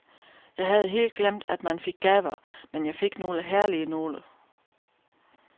Jeg havde helt glemt, at man fik gaver, men jeg fik nogle herlige nogle.